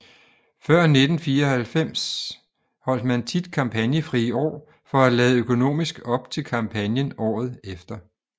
Før 1994 holdt man tit kampagnefrie år for at lade økonomisk op til kampagnen året efter